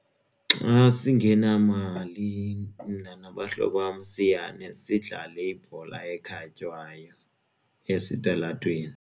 Xa singenamali mna nabahlobo bam siyane sidlale ibhola ekhatywayo esitalatweni.